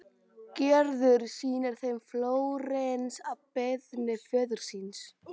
Gerður sýnir þeim Flórens að beiðni föður síns.